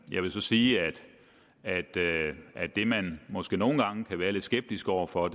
jeg vil så sige at det man måske nogle gange kan være lidt skeptisk over for